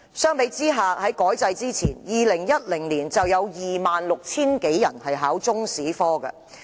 相比之下，在改制之前 ，2010 年有 26,000 多人報考中史科。